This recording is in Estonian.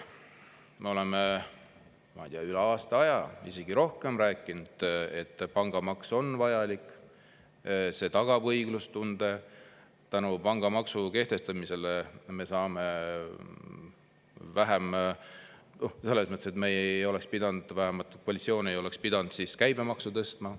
Me oleme üle aasta aja, isegi rohkem rääkinud, et pangamaks on vajalik, see tagab õiglustunde, pangamaksu kehtestamise puhul me ei oleks pidanud, vähemalt koalitsioon ei oleks pidanud käibemaksu tõstma.